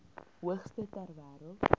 hoogste ter wêreld